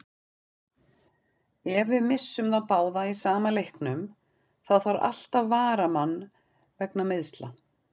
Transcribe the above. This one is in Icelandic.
Ef við missum þá báða í sama leiknum, þá þarf alltaf varamann vegna meiðsla.